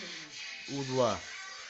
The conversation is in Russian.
у два